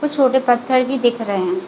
कुछ छोटे पत्थर भी दिख रहे है।